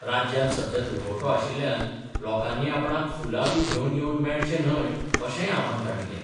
राज्यांत सध्या दुखवटो आशिल्ल्यान लोकांनी आपणांक फुलां बी घेवन येवन मेळचें न्हय अशेंय आव्हान तांणी केलें.